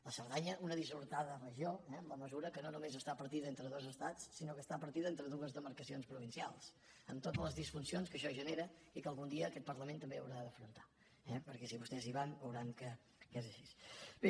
la cerdanya una dissortada regió eh en la mesura que no només està partida entre dos estats sinó que està partida entre dues demarcacions provincials amb totes les disfuncions que això genera i que algun dia aquest parlament també haurà d’afrontar perquè si vostès hi van veuran que és així